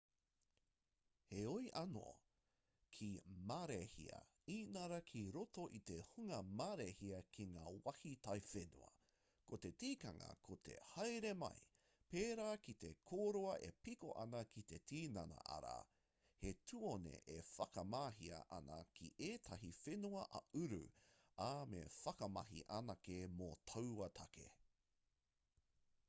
heoi anō ki marēhia inarā ki roto i te hunga marēhia ki ngā wāhi taiwhenua ko te tikanga ko te haere mai pērā ki te kōroa e piko ana ki te tinana arā he tuone e whakamahia ana ki ētahi whenua ā-uru ā me whakamahi anake mō taua take